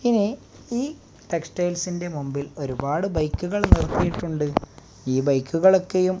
ഇനി ഈ ടെക്സ്റ്റൈൽസിന്റെ മുമ്പിൽ ഒരുപാട് ബൈക്കുകൾ നിർത്തിയിട്ടുണ്ട് ഈ ബൈക്കുകൾ ഒക്കെയും --